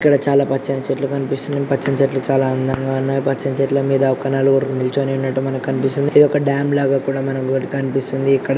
ఇక్కడ చాలా పచ్చని చెట్లు కానిపిస్తున్నాయి పచ్చని చెట్లు చాలా అందంగా ఉన్నాయి పచ్చని చెట్లు మీద ఒక నలుగురు నీల్చొని ఉన్నట్టు మనకి కనిపిస్తుంది ఇది ఒక డ్యామ్ లాగా కూడా మనకి ఒకటి కనిపిస్తుంది.